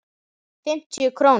Fimmtíu krónur?